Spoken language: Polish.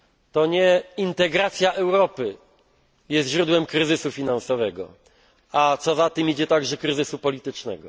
To nie integracja Europy jest źródłem kryzysu finansowego, a co za tym idzie także kryzysu politycznego.